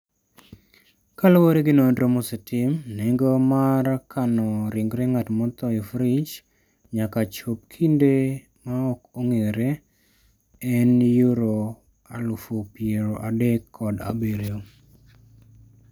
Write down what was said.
Kaluwore gi nonro mosetim, nengo mar kano ringre ng'at motho e frij nyaka chop kinde ma ok ong'ere, en £37,000.